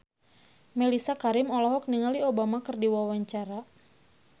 Mellisa Karim olohok ningali Obama keur diwawancara